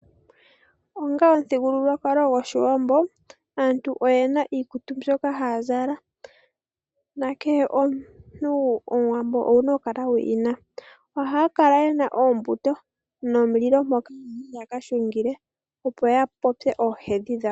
Onga omuthigululwakalo gwoshiwambo aantu oyena iikutu mbyoka haya zala. Nakehe omuntu omuwambo owuna oku kala wiina. Ohaya kala yena oombuto momulilo mpoka taya kahungila, opo yapopye oohedhi dhawo.